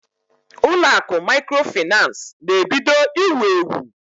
Ụlọ akụ maịkrofaịnans na-ebido iwu ewu.